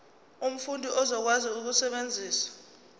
umfundi uzokwazi ukusebenzisa